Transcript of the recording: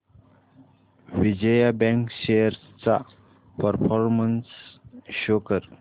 Vijaya bank shares चा performance show कर